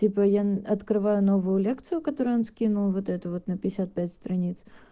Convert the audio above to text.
типо я открываю новую лекцию которую он скинул вот эту вот на пятьдесят пять страниц